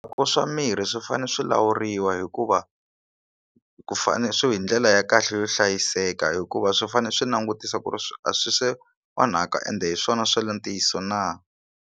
Ku swa mirhi swi fanele swi lawuriwa hikuva ku fane swi hi ndlela ya kahle yo hlayiseka hikuva swi fanele swi langutisa ku ri swi a swi onhaka ende hi swona swa le ntiyiso na.